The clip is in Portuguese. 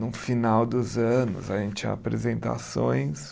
No final dos anos, a gente tinha apresentações.